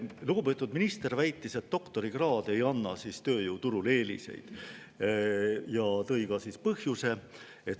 Lugupeetud minister väitis, et doktorikraad ei anna tööturul eeliseid, ja tõi ka põhjuse.